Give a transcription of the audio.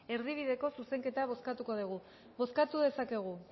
erdibideko zuzenketa bozkatuko dugu bozkatu dezakegu